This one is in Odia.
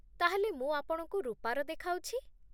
ତା'ହେଲେ ମୁଁ ଆପଣଙ୍କୁ ରୂପାର ଦେଖାଉଛି ।